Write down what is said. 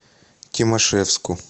тимашевску